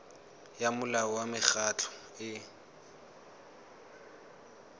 ya molao wa mekgatlho e